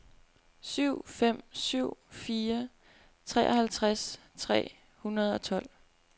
syv fem syv fire treoghalvtreds tre hundrede og tolv